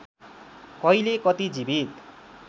कहिले कति जीवित